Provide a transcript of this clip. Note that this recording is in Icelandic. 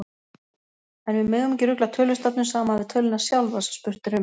En við megum ekki rugla tölustafnum saman við töluna sjálfa, sem spurt er um.